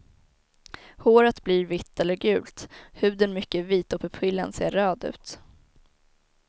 Håret blir vitt eller gult, huden mycket vit och pupillen ser röd ut.